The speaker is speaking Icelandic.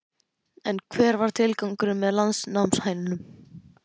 En hver er tilgangurinn með landnámshænunum?